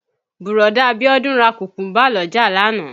Bùrọ̀dá Bíọ́dún ra Kùkúńbà l'ọ́jà lánàá